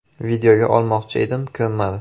Videoga olmoqchi edim, ko‘nmadi.